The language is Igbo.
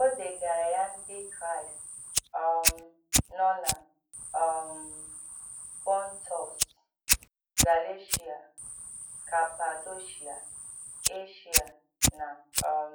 O dègàrà ya Ndị Kraịst um nọ na um Pọntọs, Galeshia, Kapadoshia, Eshia, na um